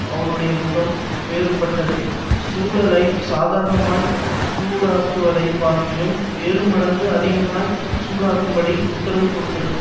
அவனுடைய முகம் வேறுபட்டது சூளையைச் சாதாரணமாய்ச் சூடாக்குவதைப் பார்க்கிலும் ஏழுமடங்கு அதிகமாய்ச் சூடாக்கும்படி உத்தரவு கொடுத்தது